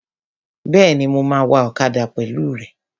Bẹ́ẹ̀ni, mo máa wa ọ̀kadà pẹ̀lú rẹ